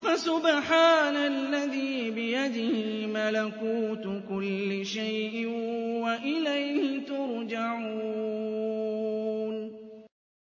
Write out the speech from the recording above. فَسُبْحَانَ الَّذِي بِيَدِهِ مَلَكُوتُ كُلِّ شَيْءٍ وَإِلَيْهِ تُرْجَعُونَ